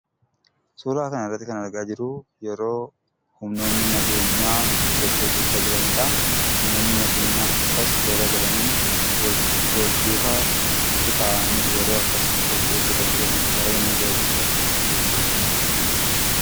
Suuraa kanarratti kan argaa jirru yeroo, humnoonni nageenyaa sochii hojjachaa jiranidha. Humnoonni nageenyaa akkas toora galanii wal duukaa qixaa'anii, yeroo akkas ispoortii hojjatan yeroon argu baayyeen ajaa'ibsiifadha.